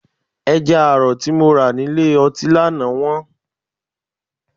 Ẹja àrọ̀ tí mo rà ní ilé ọtí lánàá wọ́n.